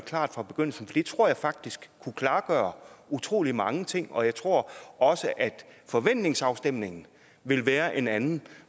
klart fra begyndelsen for det tror jeg faktisk kunne klargøre utrolig mange ting og jeg tror også at forventningsafstemningen ville være en anden